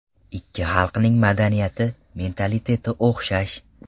Ikki xalqning madaniyati, mentaliteti o‘xshash.